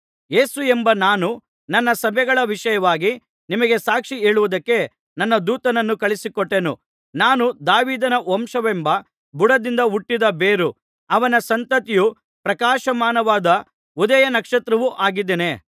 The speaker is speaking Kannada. ಯೇಸುವೆಂಬ ನಾನು ನನ್ನ ಸಭೆಗಳ ವಿಷಯವಾಗಿ ನಿಮಗೆ ಸಾಕ್ಷಿ ಹೇಳುವುದಕ್ಕೆ ನನ್ನ ದೂತನನ್ನು ಕಳುಹಿಸಿಕೊಟ್ಟೆನು ನಾನು ದಾವೀದನ ವಂಶವೆಂಬ ಬುಡದಿಂದ ಹುಟ್ಟಿದ ಬೇರೂ ಅವನ ಸಂತತಿಯೂ ಪ್ರಕಾಶಮಾನವಾದ ಉದಯ ನಕ್ಷತ್ರವೂ ಆಗಿದ್ದೇನೆ